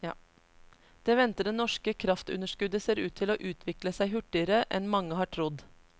Det ventede norske kraftunderskuddet ser ut til å utvikle seg hurtigere enn mange har trodd.